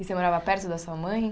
E você morava perto da sua mãe?